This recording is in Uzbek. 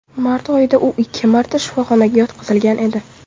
Mart oyida u ikki marta shifoxonaga yotqizilgan edi .